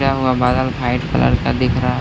क्या हुआ बादल भाइट कलर का दिख रहा है।